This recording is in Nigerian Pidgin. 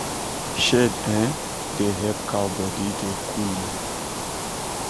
shade um da help cow body da cooleh